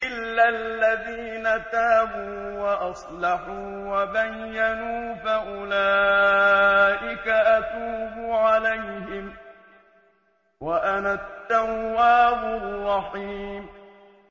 إِلَّا الَّذِينَ تَابُوا وَأَصْلَحُوا وَبَيَّنُوا فَأُولَٰئِكَ أَتُوبُ عَلَيْهِمْ ۚ وَأَنَا التَّوَّابُ الرَّحِيمُ